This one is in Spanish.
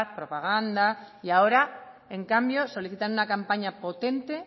propaganda y ahora en cambio solicitan una campaña potente